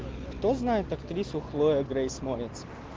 кто знает актриса хлоя грейс морец